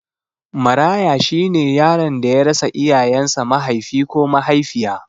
Maraya shine yaron da ya rasa iyayen sa Mahaifi ko Mahaifiya